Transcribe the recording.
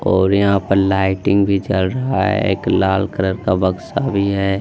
और यहां पर लाइटिंग भी जल रहा है एक लाल कलर का बक्सा भी है।